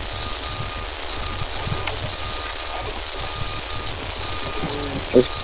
ওই